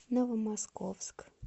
новомосковск